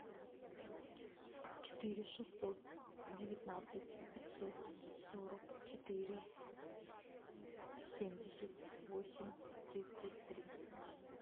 четыре шестьсот девятнадцать пятьсот сорок четыре семьдесят восемь тридцать три